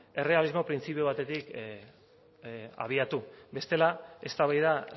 errealismo printzipio batetik abiatu bestela eztabaida